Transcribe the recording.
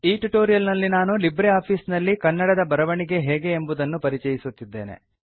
ಈ ಟ್ಯುಟೋರಿಯಲ್ ನಲ್ಲಿ ನಾನು ಲಿಬ್ರೆ ಆಫೀಸ್ ನಲ್ಲಿ ಕನ್ನಡದ ಬರವಣಿಗೆ ಹೇಗೆ ಎಂಬುದನ್ನು ಪರಿಚಯಿಸುತ್ತಿದ್ದೇನೆ